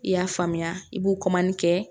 I y'a faamuya i b'o kɛ